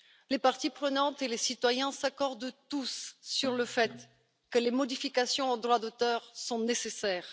Les parties prenantes et les citoyens s'accordent tous sur le fait que les modifications du droit d'auteur sont nécessaires.